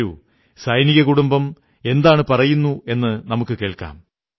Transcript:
വരൂ സൈനിക കുടുംബം എന്തു പറയുന്നുവെന്നു നമുക്കു കേൾക്കാം